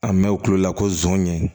An mɛ u kulo la ko zon ɲɛ